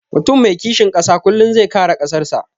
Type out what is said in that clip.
Mutum mai kishin ƙasa kullum zai kare ƙasan sa